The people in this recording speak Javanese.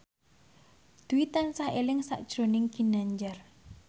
Dwi tansah eling sakjroning Ginanjar